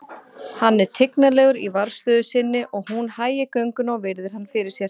Hann er tignarlegur í varðstöðu sinni og hún hægir gönguna og virðir hann fyrir sér.